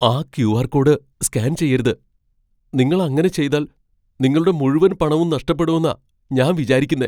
ആ Q R. Code scan ചെയ്യരുത്. നിങ്ങൾ അങ്ങനെ ചെയ്താൽ നിങ്ങളുടെ മുഴുവൻ പണവും നഷ്ടപ്പെടൂന്നാ ഞാൻ വിചാരിക്കുന്നേ.